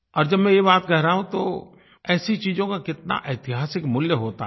और जब मैं ये बात कह रहा हूँ तो ऐसी चीज़ों का कितना ऐतिहासिक मूल्य होता है